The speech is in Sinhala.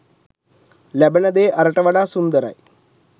ලැබෙන දේ අරට වඩා සුන්දරයි.